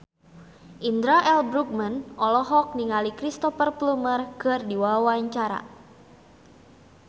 Indra L. Bruggman olohok ningali Cristhoper Plumer keur diwawancara